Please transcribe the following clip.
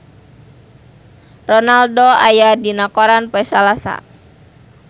Ronaldo aya dina koran poe Salasa